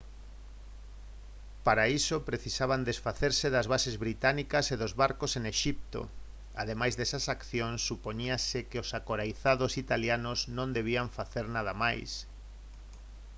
para iso precisaban desfacerse das bases británicas e dos barcos en exipto ademais desas accións supoñíase que os acoirazados italianos non debían facer nada máis